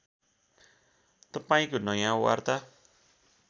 तपाईँंको नयाँ वार्ता